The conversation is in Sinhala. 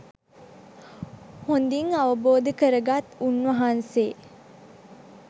හොඳින් අවබෝධ කරගත් උන්වහන්සේ